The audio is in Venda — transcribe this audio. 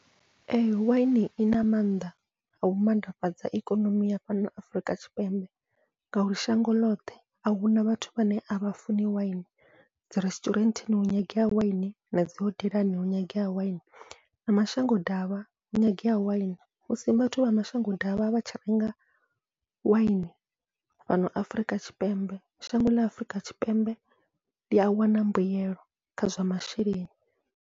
Ee waini ina maanḓa au mannḓafhadza ikonomi ya fhano Afurika Tshipembe, ngauri shango ḽoṱhe ahuna vhathu vhane avha funi waini dzi resiṱurenteni hu nyangea waini nadzi hodelani hu nyangea waini na mashango davha hu nyangea waini, musi vhathu vha mashango davha vhatshi renga waini fhano Afurika Tshipembe shango ḽa Afrika Tshipembe ḽia wana mbuyelo kha zwa masheleni.